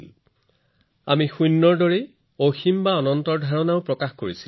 যদি আমি শূন্য উদ্ভাৱন কৰোঁ আমি অসীম অৰ্থাৎ অনন্তও প্ৰকাশ কৰিছো